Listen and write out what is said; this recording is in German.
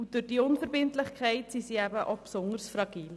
Durch diese Unverbindlichkeit sind sie besonders fragil.